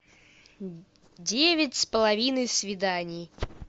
девять с половиной свиданий